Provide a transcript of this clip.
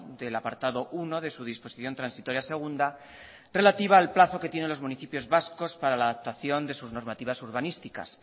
del apartado uno de su disposición transitoria segunda relativa al plazo que tienen los municipios vascos para la adaptación de sus normativas urbanísticas